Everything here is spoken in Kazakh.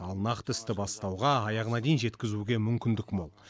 ал нақты істі бастауға аяғына дейін жеткізуге мүмкіндік мол